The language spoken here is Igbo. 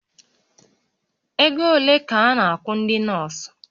Ego ole ka a na-akwụ ndị nọọsụ?